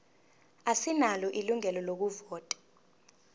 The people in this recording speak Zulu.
asinalo ilungelo lokuvota